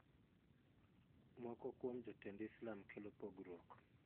Moko kuom jotend islam kelo pogruok.